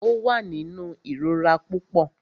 Ó wà nínú ìrora púpọ.